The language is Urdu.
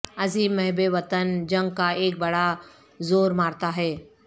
عظیم محب وطن جنگ کا ایک بڑا زور مارتا ہے